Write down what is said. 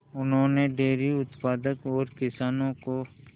उन्होंने डेयरी उत्पादन और किसानों को